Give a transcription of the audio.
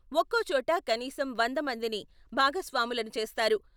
ఒక్కోచోట కనీసం వంద మందిని భాగస్వాములను చేస్తారు.